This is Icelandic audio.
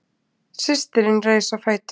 Systirin reis á fætur.